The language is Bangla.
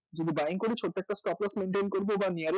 যদি buying করি ছোট্ট একটা maintain করব বা nearest